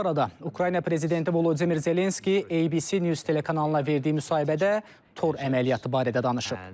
Bu arada Ukrayna prezidenti Volodimir Zelenski ABC News telekanalına verdiyi müsahibədə tor əməliyyatı barədə danışıb.